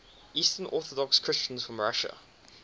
eastern orthodox christians from russia